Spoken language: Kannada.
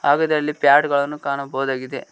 ಹಾಗೆ ಇದರಲ್ಲಿ ಪ್ಯಾಡ್ ಗಳನ್ನು ಕಾಣಬಹುದಾಗಿದೆ.